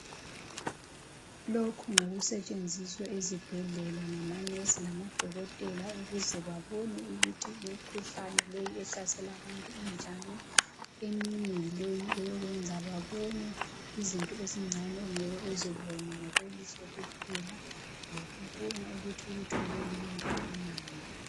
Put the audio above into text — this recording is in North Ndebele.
Lokhu ngokusetshenziswa ezibhedlela ngamanesi lamadokotela ukuze babone ukuthi imikhuhlane leyi ehlasela abantu injani. Eminye yileyi eyokwenza babone izinto ezincane ongeke uzibone ngokwelihlo kuphela, lokubona ukuthi ulutho lolu lungakanani.